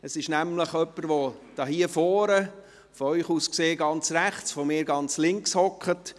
Es ist nämlich jemand, der hier vorne, von Ihnen aus gesehen ganz rechts, beziehungsweise von mir aus gesehen, ganz links sitzt: